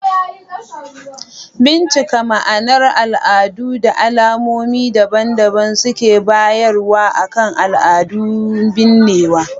Bincika ma'anar al'adun da al'ummomi daban-daban suke bayarwa akan al'adun binnewa.